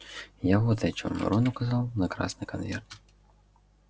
я вот о чём рон указал на красный конверт